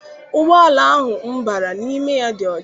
Ụgbọala ahụ m bara n'ime ya dị ọcha.